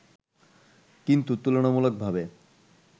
কিন্তু তুলনামূলকভাবে